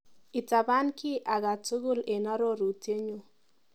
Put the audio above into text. Itapan kiiy akatukul eng arorutienyu.